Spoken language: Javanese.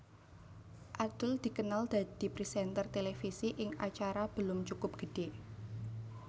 Adul dikenal dadi présènter televisi ing acara Belum Cukup Gede